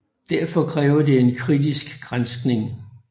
Derfor kræver det en kritisk granskning